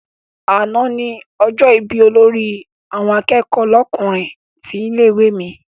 Àná ni ọjọ́ ìbí olórí àwọn akẹ́kọ̀ọ́ lọ́kùnrin tilé-ìwé mi.